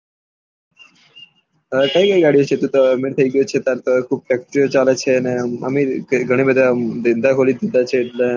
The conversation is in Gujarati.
કઈ કઈ ગાળિયો છે તું તો અમીર થઇ ગયો છે તાર તો ખુબ ફેક્તીરીયો ચાલે છે ને અમીર એ ઘણા બધા એમ ધંધા ખોલી દીધા છે એટલે